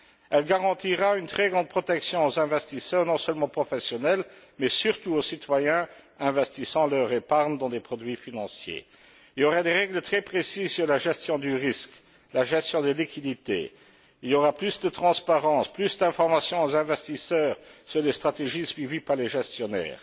Elle garantira une très grande protection aux investisseurs, non seulement professionnels, mais surtout aux citoyens investissant leur épargne dans des produits financiers. Il y aura des règles très précises sur la gestion du risque, la gestion des liquidités. Il y aura plus de transparence, plus d'information aux investisseurs sur les stratégies suivies par les gestionnaires.